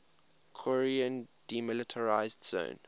korean demilitarized zone